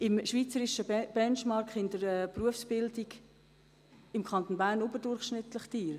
Im schweizerischen Benchmarking der Berufsbildung ist der Kanton Bern überdurchschnittlich teuer.